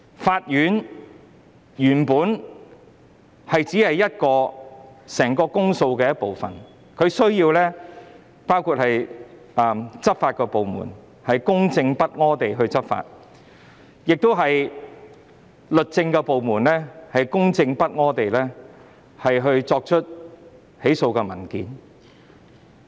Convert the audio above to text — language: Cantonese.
法院只是整個公訴程序的一部分，當中還需要執法部門公正不阿地執法，以及律政部門公正不阿地提出起訴。